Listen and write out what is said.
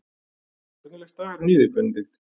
Hvernig leggst dagurinn í þig Benedikt?